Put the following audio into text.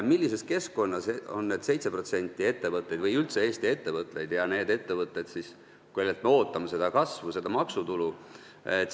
Millises keskkonnas on need 7% ettevõtetest ja üldse Eesti ettevõtted, need ettevõtted, kellelt me ootame seda kasvu, seda maksutulu?